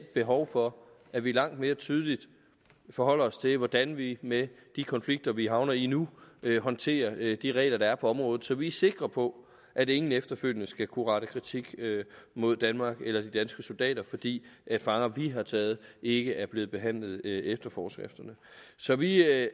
behov for at vi langt mere tydeligt forholder os til hvordan vi med de konflikter vi havner i nu håndterer de regler der er på området så vi er sikre på at ingen efterfølgende skal kunne rette kritik mod danmark eller de danske soldater fordi fanger vi har taget ikke er blevet behandlet efter forskrifterne så vi